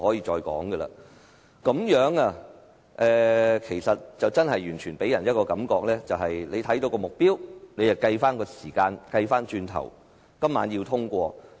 這個情況真的給人一種感覺，就是主席按照既定目標，反過來計算時間，要在今晚通過《條例草案》。